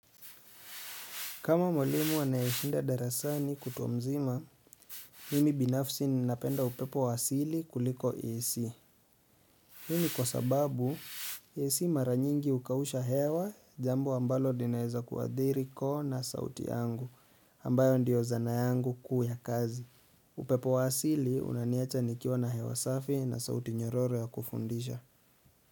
Kama mwlimu anayeshinda darasani kutwa mzima, mimi binafsi ninapenda upepo wa asili kuliko AC. Hii ni kwa sababu, AC mara nyingi hukausha hewa, jambo ambalo linaweza kuadhiri koo na sauti yangu, ambayo ndio zana yangu kuu ya kazi. Upepo wa asili unaniwacha nikiwa na hewa safi na sauti nyororo ya kufundisha.